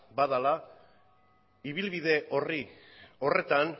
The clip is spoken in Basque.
badela ibilbide horretan